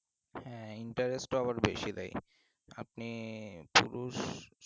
হ্যাঁ interest আবার বেশি দেয় আপনি পুরুষ